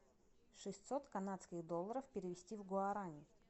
шестьсот канадских долларов перевести в гуарани